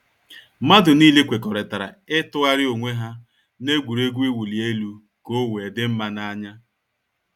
Mmadu niile kwekọrịtara ịtụgharị onwe ha n’egwuregwu ịwụ li elu ka ọ wee dị mma na anya